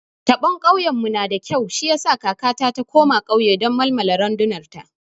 Taɓon kauyen mu nada kyau shi yasa kakata ta koma kauye don malmala randunar ta